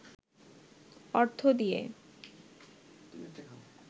অর্থ দিয়ে